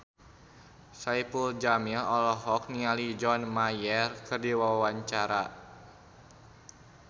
Saipul Jamil olohok ningali John Mayer keur diwawancara